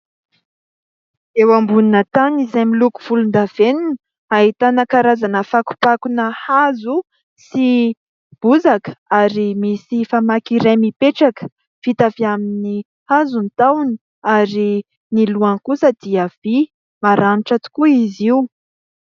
Eo ambonina tany izay miloko volondavenona ahitana karazana fakofakona hazo sy bozaka ary misy famaky iray mipetraka vita avy amin'ny hazo ny tahony ary ny lohany kosa dia vy, maranitra tokoa izy io.